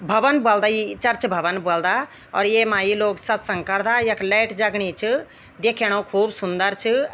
भवन ब्वल्दा ईं चर्च भवन ब्वल्दा और येमा ये लोग सतसंग करदा यख लाइट जगणी च दिख्येणु खूब सुंदर च।